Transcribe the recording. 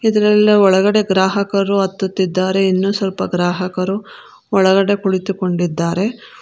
ಇದರೆಲ್ಲ ಒಳಗಡೆ ಗ್ರಾಹಕರು ಹತ್ತುತ್ತಿದ್ದಾರೆ ಇನ್ನು ಸ್ವಲ್ಪ ಗ್ರಾಹಕರು ಒಳಗಡೆ ಕುಳಿತುಕೊಂಡಿದ್ದಾರೆ.